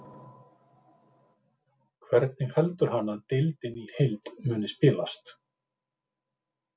Hvernig heldur hann að deildin í heild muni spilast?